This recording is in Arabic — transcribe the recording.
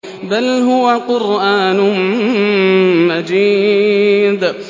بَلْ هُوَ قُرْآنٌ مَّجِيدٌ